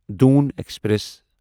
Doon express